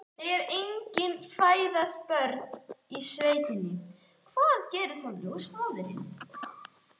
Þegar engin fæðast börnin í sveitinni, hvað gerir þá ljósmóðirin?